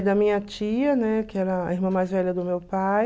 da minha tia, né, que era a irmã mais velha do meu pai.